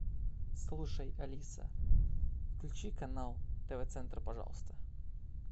слушай алиса включи канал тв центр пожалуйста